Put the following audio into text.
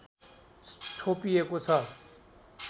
छोपिएको छ